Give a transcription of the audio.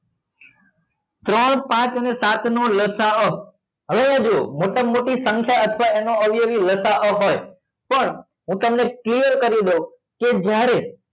ત્રણ પાંચ અને સાત નો લસા અ હવે જુઓ મોટા માં મોટી સંખ્યા અથવા એનો અવયવી લસા અ હોય પણ હું તમને clear કરી દઉં કે જ્યારે